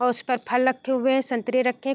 और उस पर फल लखे हुए हैं संतरे रखे --